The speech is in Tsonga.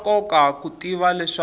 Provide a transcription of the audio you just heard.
swa nkoka ku tiva leswaku